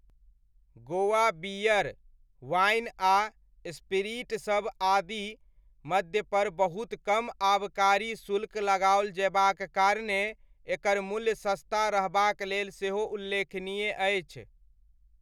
Goa beer, wine आ स्पीरिटसभ आदि मद्यपर बहुत कम आबकारी शुल्क लगाओल जयबाक कारणेँ एकर मूल्य सस्ता रहबाक लेल सेहो उल्लेखनीय अछि।